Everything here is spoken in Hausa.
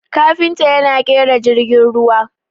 kafinta yana kera jirgin ruwa